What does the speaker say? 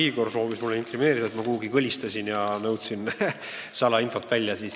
Igor soovis mulle inkrimineerida seda, et ma kuhugi kõlistasin ja nõudsin salainfot välja.